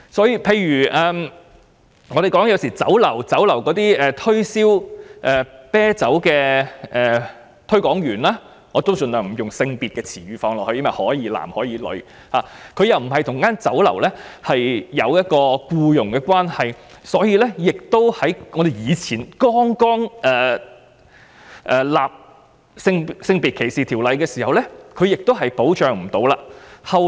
又例如在酒樓推銷啤酒的推廣員——我盡量不會使用帶有性別的用詞，因為可以是男或女——由於跟酒樓沒有僱傭關係，所以早期的性別歧視法例並不保障他們。